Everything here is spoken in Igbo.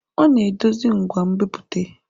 Ọ na-edozi ngwa nbipute.